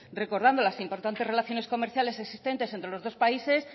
recordando las importantes relaciones comerciales existentes entre los dos países